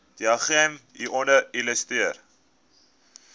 diagram hieronder illustreer